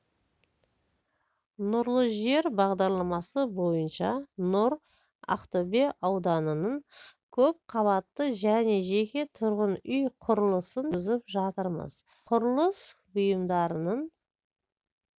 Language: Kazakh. нұрлы жер бағдарламасы бойынша нұр ақтөбе ауданынан көп қабатты және жеке тұрғын үй құрылысын жүргізіп жатырмыз құрылыс бұйымдарының